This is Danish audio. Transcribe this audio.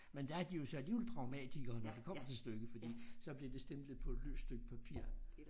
Men der er de jo så alligevel pragmatikere når det kommer til stykket fordi så bliver det stemplet på et løst stykke papir